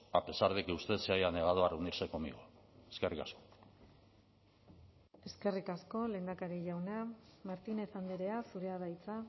a pesar de que usted se haya negado a reunirse conmigo eskerrik asko eskerrik asko lehendakari jauna martínez andrea zurea da hitza